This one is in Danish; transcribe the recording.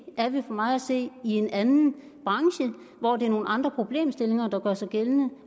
er det for mig at se en anden branche hvor det er nogle andre problemstillinger der gør sig gældende